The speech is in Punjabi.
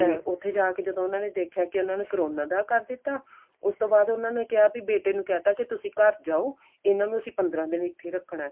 ਤੇ ਉੱਥੇ ਜਾ ਕੇ ਜਦੋਂ ਉਹਨਾ ਨੇ ਦੇਖਿਆ ਕੀ ਉਹਨਾ ਨੂੰ ਕਰੋਨਾ ਦਾ ਕਰ ਦਿੱਤਾ ਇਹਨਾ ਨੂੰ ਅਸੀਂ ਪੰਦਰਾਂ ਦਿਨ ਇੱਥੇ ਰੱਖਣਾ